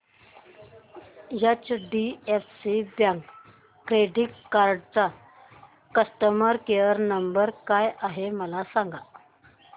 HDFC bank credit card चा customer care number काय आहे मला सांगा